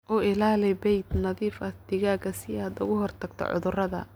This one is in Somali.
U ilaali bay'ad nadiif ah digaagga si aad uga hortagto cudurrada.